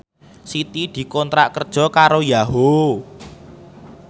Siti dikontrak kerja karo Yahoo!